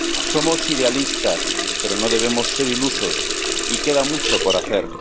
Somos idealistas, pero no debemos ser ilusos y queda mucho por hacer.